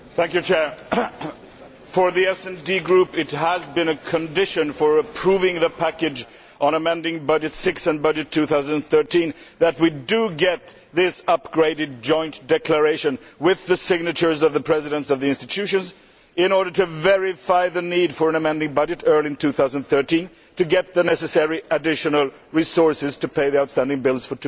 Mr President, for the SD Group it has been a condition for approving the package on amending budget 6 and the 2013 budget that we get this upgraded joint statement, with the signatures of the Presidents of the institutions, in order to verify the need for an amending budget early in 2013 to get the necessary additional resources to pay the outstanding bills for